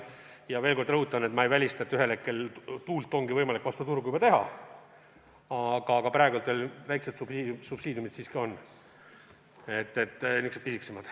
Ma veel kord rõhutan, et ma ei välista, et ühel hetkel tuult ongi võimalik nn vastu turgu teha, aga praegu väikesed subsiidiumid siiski on – niisugused pisikesemad.